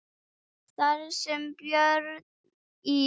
Þar sem Björn í